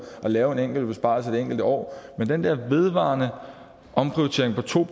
at lave en besparelse et enkelt år men den der vedvarende omprioritering på to